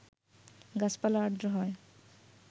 গাছাপালা আর্দ্র হয়